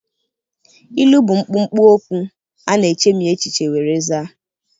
Ilu bụ mkpụmkpụ okwu ana echemi echiche were zaa.